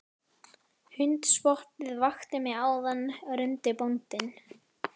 Hundspottið vakti mig áðan rumdi bóndinn.